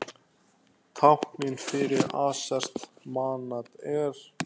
Táknið fyrir aserskt manat er.